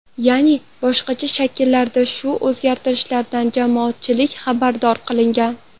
Ya’ni boshqacha shakllarda shu o‘zgartirishlardan jamoatchilik xabardor qilingan.